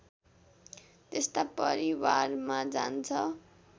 त्यस्ता परिवारमा जान्छ